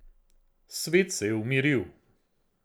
Svet se je umiril.